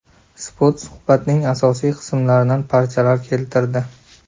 Spot suhbatning asosiy qismlaridan parchalar keltirdi .